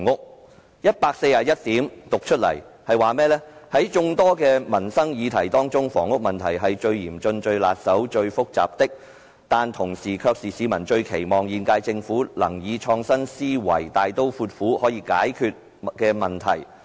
第141段表示，"在眾多民生議題中，房屋問題是最嚴峻、最棘手、最複雜的，但同時卻是市民最期望現屆政府能以創新思維，大刀闊斧可解決的問題......